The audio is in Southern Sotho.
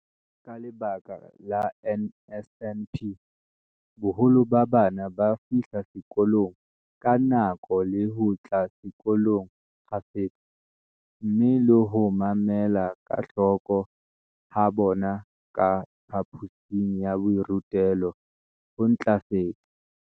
Ka lebaka la NSNP, boholo ba bana ba fihla sekolong ka nako le ho tla sekolong kgafetsa, mme le ho mamela ka hloko ha bona ka phaphosing ya borutelo ho ntlafetse.